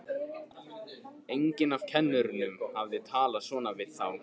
Enginn af kennurunum hafði talað svona við þá.